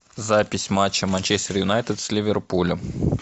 запись матча манчестер юнайтед с ливерпулем